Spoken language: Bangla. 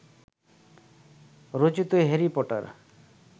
রচিত হ্যারি পটার